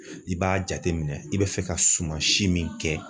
I b'a jateminɛ i be fɛ ka suman si min kɛ